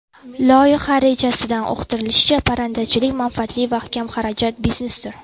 Loyiha rejasida uqtirilishicha, parrandachilik manfaatli va kamxarajat biznesdir.